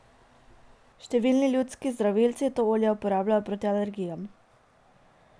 Številni ljudski zdravilci to olje uporabljajo proti alergijam.